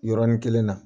Yɔrɔnin kelen na